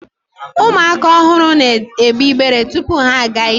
ụmụaka ọhụrụ na egbe ibere tupu ha aga ije